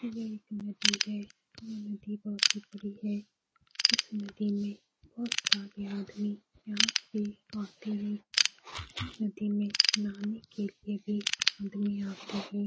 यह एक नदी है। यह नदी बहुत ही बड़ी है। इस नदी में बोहत सारे आदमी यहाँ पे आते है। इस नदी में नहाने के लिए भी आदमी आते है।